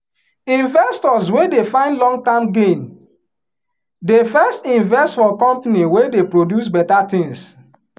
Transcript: investors wey dey find long term gain dey first invest for company wey dey produce better tins.